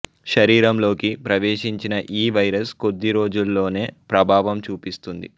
శరీరంలోకి ప్రవేశించిన ఈ వైరస్ కొద్ది రోజుల్లోనే ప్రభావం చూపిస్తుంది